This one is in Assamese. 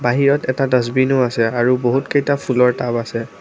বাহিৰত এটা ডাছবিনো আছে আৰু বহুত কেইটা ফুলৰ টাব আছে।